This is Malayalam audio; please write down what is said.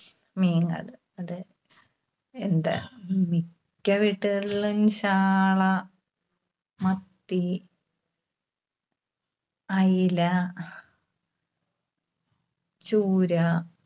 മീനാണ്. അത് എന്താ മിക്ക വീട്ടുകളിലും ചാള, മത്തി, അയില, ചൂര